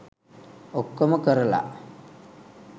ඔක්කොම කරලා